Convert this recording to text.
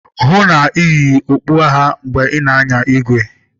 hụ na ị na-eyi okpu agha mgbe ị na-anya igwe!